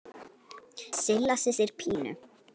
Silla systir Pínu.